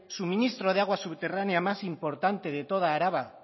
suministro de aguas subterránea más importante de toda araba